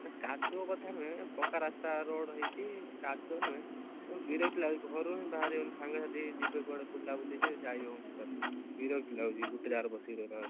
ସେ କାଦୁଅ କଥା ନୁହେ ପକ୍କା ରାସ୍ତା road ହେଇଛି କାଦୁଅ ନୁହେ ବିରକ୍ତି ଲାଗୁଛି ଘରୁ ହିଁ ବାହାରି ହଉନି ସାଙ୍ଗ ସାଥି ରେ ଯିବେ କୁଆଡେ ବୁଲାବୁଲି ରେ ଯାଇ ହଉନି totally ବିରକ୍ତି ଲାଗୁଛି ଗୋଟେ ଜାଗାରେ ବସିକି ରହିଲା ବେଳକୁ